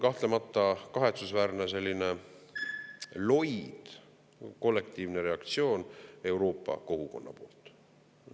Kahtlemata on kahetsusväärne selline loid kollektiivne reaktsioon Euroopa kogukonna poolt.